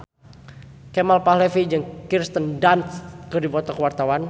Kemal Palevi jeung Kirsten Dunst keur dipoto ku wartawan